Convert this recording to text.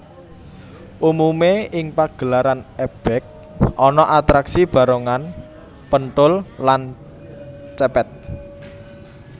Umumé ing pagelaran ebeg ana atraksi barongan penthul lan cepet